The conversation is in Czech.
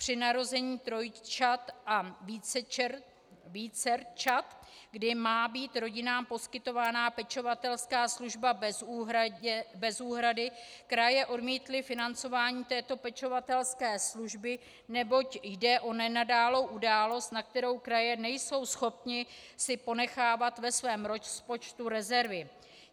Při narození trojčat a vícerčat, kdy má být rodinám poskytována pečovatelská služba bez úhrady, kraje odmítly financování této pečovatelské služby, neboť jde o nenadálou událost, na kterou kraje nejsou schopny si ponechávat ve svém rozpočtu rezervy.